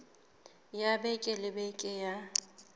ya beke le beke ya